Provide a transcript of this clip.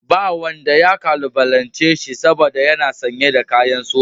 Babu wanda ya kalubalance shi saboda yana sanye da kakin soja